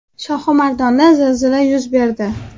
Shohimardonda zilzila yuz berdi.